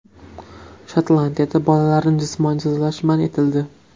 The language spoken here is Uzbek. Shotlandiyada bolalarni jismoniy jazolash man etildi.